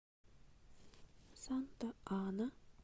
санта ана